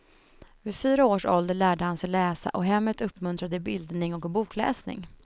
Vid fyra års ålder lärde han sig läsa och hemmet uppmuntrade bildning och bokläsning.